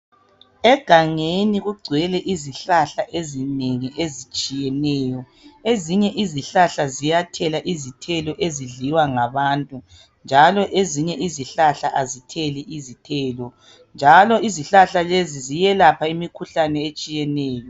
Egangeni kugcwele izihlahla ezinengi ezitshiyeneyo. Ezinye izihlahla ziyathela izithelo ezidliwa ngabantu, njalo ezinye izihlahla azitheli izithelo, njalo izihlahla lezi ziyelapha imikhuhlane etshiyeneyo.